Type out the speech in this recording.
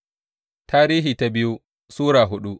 biyu Tarihi Sura hudu